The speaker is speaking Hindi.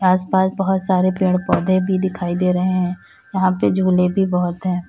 आसपास बहुत सारे पेड़ पौधे भी दिखाई दे रहे हैं यहां पे झूले भी बहुत है।